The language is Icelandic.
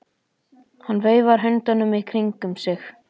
Hann veifar höndunum í kringum sig.